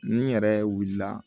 Ni yɛrɛ wulila